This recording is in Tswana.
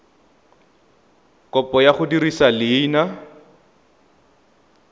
kopo ya go dirisa leina